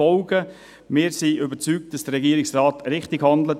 Wir sind überzeugt, dass der Regierungsrat richtig handelt.